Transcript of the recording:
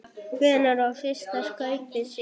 Hvenær var fyrsta skaupið sýnt?